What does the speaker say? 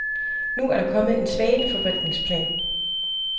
Nu er der kommet en svaneforvaltningsplan.